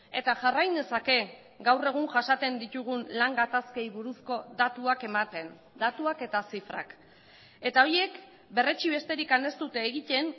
eta jarrai nezake gaur egun jasaten ditugun lan gatazkei buruzko datuak ematen datuak eta zifrak eta horiek berretsi besterik ez dute egiten